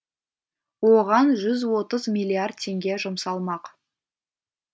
оған жүз отыз миллиард теңге жұмсалмақ